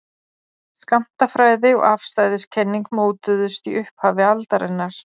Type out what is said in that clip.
Skammtafræði og afstæðiskenning mótuðust í upphafi aldarinnar.